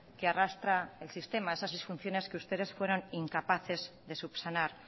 que arrastra el sistema esas disfunciones que ustedes fueron incapaces de subsanar